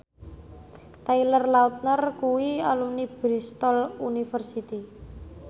Taylor Lautner kuwi alumni Bristol university